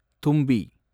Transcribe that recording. தும்பி